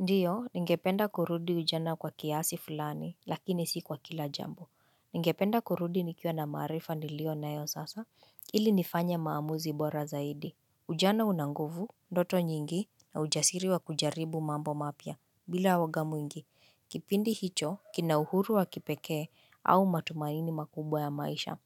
Ndiyo, ningependa kurudi ujana kwa kiasi fulani, lakini si kwa kila jambo. Ningependa kurudi nikiwa na maarifa nilio nayo sasa, ili nifanye maamuzi bora zaidi. Ujana una nguvu, ndoto nyingi, na ujasiri wa kujaribu mambo mapya, bila uoga mwingi. Kipindi hicho, kina uhuru wa kipekee, au matumaini makubwa ya maisha.